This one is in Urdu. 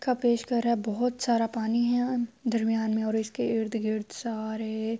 کا پیش کر رہا ہے۔ بھوت سارا پانی ہے۔ درمیان مے اسکے ارد گرد سارے--